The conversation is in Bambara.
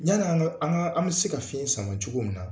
Yan' an ka an ka an bɛ se ka fiɲɛ sama cogo min na